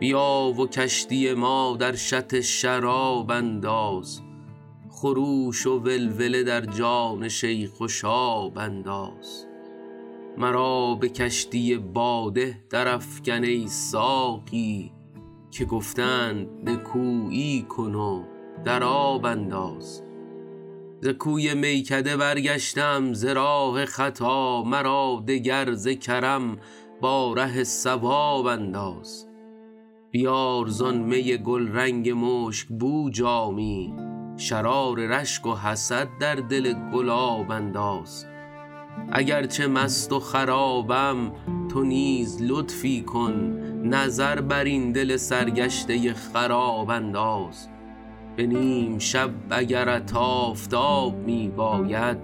بیا و کشتی ما در شط شراب انداز خروش و ولوله در جان شیخ و شاب انداز مرا به کشتی باده درافکن ای ساقی که گفته اند نکویی کن و در آب انداز ز کوی میکده برگشته ام ز راه خطا مرا دگر ز کرم با ره صواب انداز بیار زآن می گلرنگ مشک بو جامی شرار رشک و حسد در دل گلاب انداز اگر چه مست و خرابم تو نیز لطفی کن نظر بر این دل سرگشته خراب انداز به نیم شب اگرت آفتاب می باید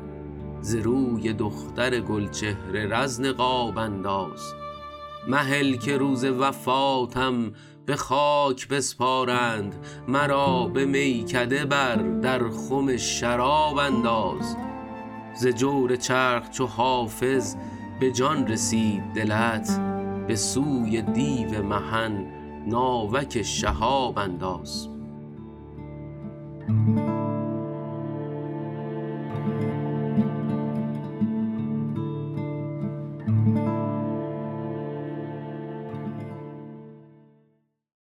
ز روی دختر گل چهر رز نقاب انداز مهل که روز وفاتم به خاک بسپارند مرا به میکده بر در خم شراب انداز ز جور چرخ چو حافظ به جان رسید دلت به سوی دیو محن ناوک شهاب انداز